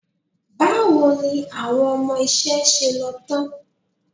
Báwo ni àwọn ọmọ iṣẹ́ ṣe lọ tán?